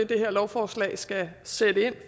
det her lovforslag skal sætte ind